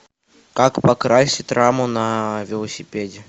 как покрасить раму на велосипеде